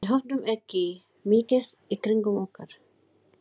Við höfðum ekki mikið í kringum okkur.